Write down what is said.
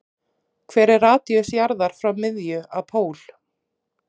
Hver er radíus jarðar frá miðju að pól?